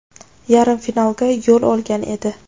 yarim finalga yo‘l olgan edi.